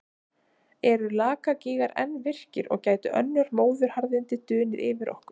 Eru Lakagígar enn virkir og gætu önnur móðuharðindi dunið yfir okkur?